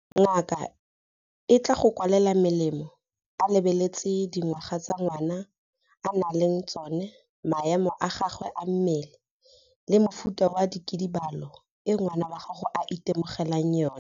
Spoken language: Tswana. Ngaka e tla go kwalela melemo a lebeletse dingwaga tse ngwana a nang le tsona, maemo a gagwe a mmele le mofuta wa kidibalo e ngwana wa gago a itemogelang yona.